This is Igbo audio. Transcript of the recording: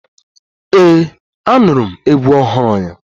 Ee, Anụrụ m egwu ọhụrụ ya.